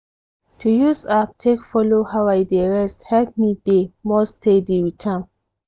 to use app take follow how i dey rest help me dey more steady with am.